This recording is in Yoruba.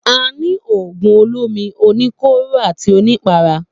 A ni ògùn olómi, oníkóró àti onípara